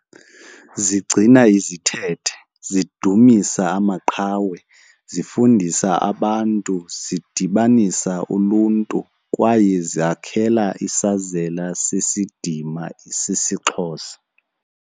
Zigcina izithethe, zidudumisa amaqhawe, zifundisa abantu, zidibanisa uluntu kwaye zakhela isazela sesidima sesiXhosa.